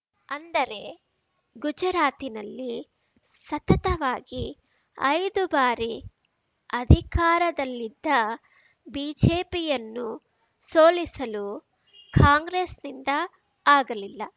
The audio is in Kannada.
ಅಂದರೆ ಗುಜರಾತಿನಲ್ಲಿ ಸತತವಾಗಿ ಐದು ಬಾರಿ ಅಧಿಕಾರದಲ್ಲಿದ್ದ ಬಿಜೆಪಿಯನ್ನು ಸೋಲಿಸಲು ಕಾಂಗ್ರೆಸ್‌ನಿಂದ ಆಗಲಿಲ್ಲ